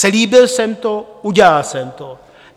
Slíbil jsem to, udělal jsem to.